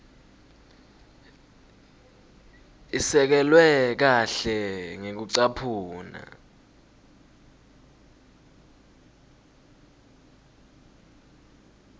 isekelwe kahle ngekucaphuna